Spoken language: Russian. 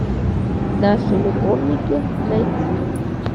наши любовники найти